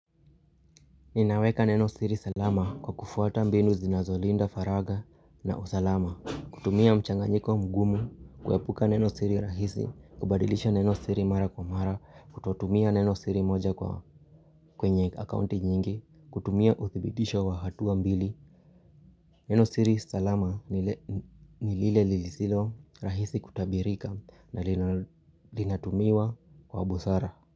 Ninaweka neno siri salama kwa kufuata mbindu zinazolinda faraga na usalama kutumia mchanganyiko mgumu, kuepuka neno siri rahisi, kubadilisha neno siri mara kwa mara Kututumia neno siri moja kwenye accounti nyingi, kutumia utibidisha wa hatu wa mbili Neno siri salama nilile lizilo rahisi kutabirika na linatumiwa kwa busara.